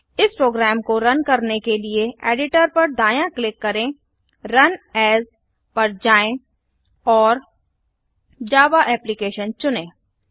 इस प्रोग्राम को रन करने के लिए एडिटर पर दायाँ क्लिक करें रुन एएस पर जाएँ और जावा एप्लिकेशन चुनें